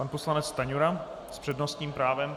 Pan poslanec Stanjura s přednostním právem.